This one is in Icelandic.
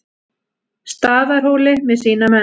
Staðarhóli með sína menn.